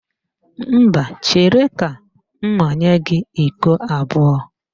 Mba, chere ka m manye gị iko abụọ